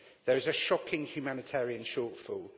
There is a shocking humanitarian shortfall.